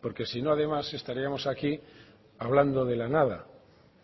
porque si no además estaríamos aquí hablando de la nada